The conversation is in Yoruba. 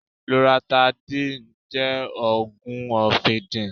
Lọratidéìì jẹ́ òògùn ọfìnkìn.